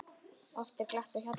Oft er glatt á hjalla.